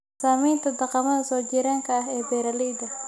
Saamaynta dhaqamada soo jireenka ah ee beeralayda.